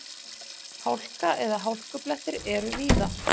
Hálka eða hálkublettir eru víða